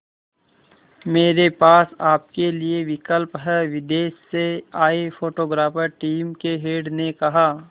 मेरे पास आपके लिए विकल्प है विदेश से आए फोटोग्राफर टीम के हेड ने कहा